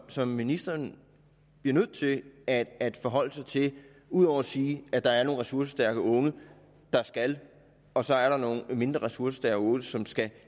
som ministeren bliver nødt til at at forholde sig til ud over at sige at der er nogle ressourcestærke unge der skal og så er der nogle mindre ressourcestærke unge som skal